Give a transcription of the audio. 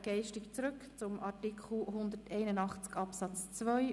Wir springen zurück zu Artikel 181 Absatz 2.